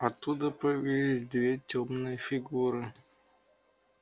оттуда появились две тёмные фигуры